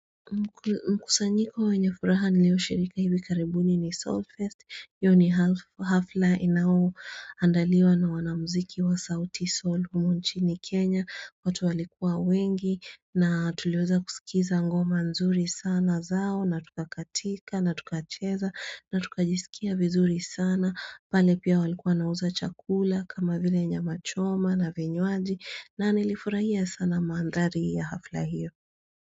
Mkusanyiko wenye furaha nilioshirika hivi karibuni ni Soulfest hafla inayoandaliwa na wanamziki wa Souti Soul humu nchini Kenya watu walikuwa wengi na tuliweza kusikiza ngoma nzuri sana zao na tukakatika, na tukacheza, na tukajisikia vizuri sana pale pia walikuwa nauza chakula kama vile nyama choma na vinywaji na nilifurahia sana mandhari ya hafla hiyo.